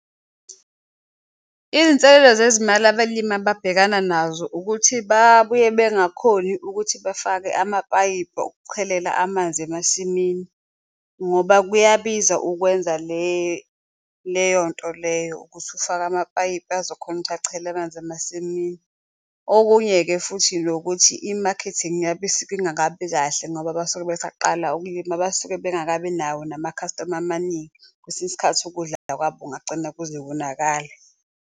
Izinselelo zezimali abalimi ababhekana nazo ukuthi babuye bengakhoni ukuthi bafake amapayipi okuchelela amanzi emasimini ngoba kuyabiza ukwenza leyo nto leyo, ukuthi ufake amapayipi azokhona ukuthi achele amanzi emasimini. Okunye-ke futhi nokuthi i-marketing yabo isuke ingakabi kahle ngoba basuke besaqala ukulima, abasuke bengakabi nawo namakhastoma amaningi kwesinye isikhathi ukudlala kwabo kungagcine kuze konakala.